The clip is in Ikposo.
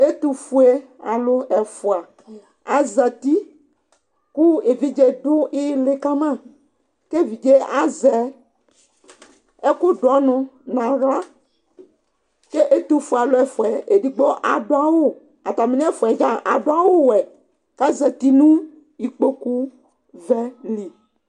ɛtofue alo ɛfua azati kò evidze do ili kama k'evidze azɛ ɛkò do ɔnu n'ala k'etofue alò ɛfuaɛ edigbo ado awu atami nɛfuaɛ dza ado awu wɛ k'azati no ikpoku vɛ li